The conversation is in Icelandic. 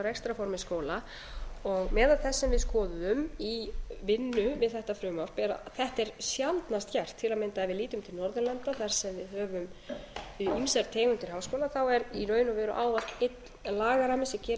rekstrarformi skóla og meðal þess sem við skoðuðum í vinnu við þetta frumvarp er að þetta er sjaldnast gert til að mynda ef við lítum til norðurlanda þar sem við höfum ýmsar tegundir háskóla er í raun og veru ávallt lagarammi sem gerir ráð fyrir